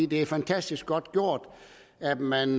det er fantastisk godt gjort at man